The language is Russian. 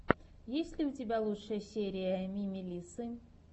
есть ли у тебя лучшая серия мими лиссы